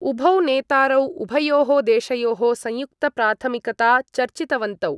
उभौ नेतारौ उभयोः देशयोः संयुक्तप्राथमिकता चर्चितवन्तौ।